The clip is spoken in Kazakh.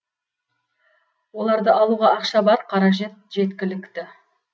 оларды алуға ақша бар қаражат жеткілікті